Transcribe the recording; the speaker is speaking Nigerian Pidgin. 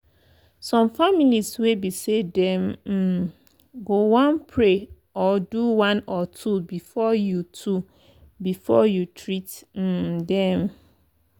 some families wey be say them um go one pray or do one or two before you two before you treat um them.